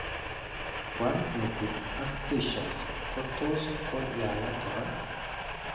Koaam metit ak seizures ko tos' ko yaayak kora.